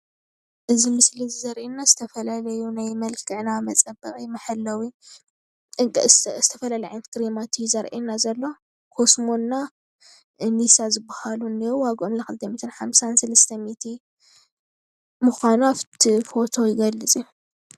እዚ ምስሊ እዚ ዘረእየና ዝተፈላለዩ ናይ መልክዕና መፀበቒ መሐለዊ ዝተፈላለዩ ዓይነታት ክሬማት እዩ ዘርእየና ዘሎ ኮስሞ እና እኒሳ ዝበሃሉ እኔዉ ዋግኦም ለ 250፣300 ምዃኑ ኣፍቲ ፎቶ ይገልፅ እዩ።